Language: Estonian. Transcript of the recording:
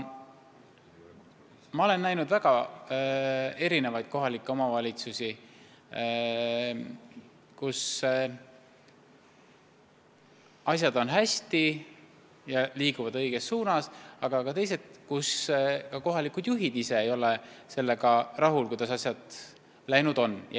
Ma tean väga erineva suurusega kohalikke omavalitsusi, kus asjad on hästi, liiguvad õiges suunas, aga tean ka teisi, kus kohalikud juhid ise ka ei ole sellega rahul, kuidas asjad läinud on.